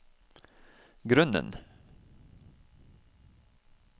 grunnen